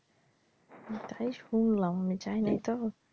তাই শুনলাম আমি যাইনাই তো।